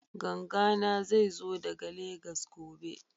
Ganga na zai zo daga Legas gobe